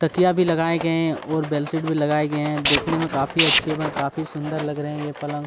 तकिया भी लगाये गए और बेड-शीट भी लगाये गए है देखने में काफी अच्छी व काफी सुंदर लग रहे है ये पलंग--